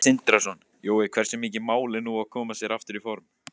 Sindri Sindrason: Jói, hversu mikið mál er nú að koma sér aftur í form?